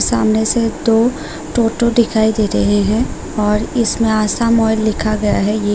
सामने से दो टोटो दिखाई दे रहे हैं और इसमें आसाम ओईल लिखा गया है ये --